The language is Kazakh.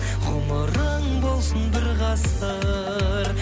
ғұмырың болсын бір ғасыр